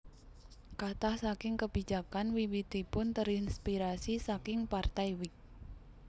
Katah saking kebijakan wiwitipun terinspirasi saking Partai Whig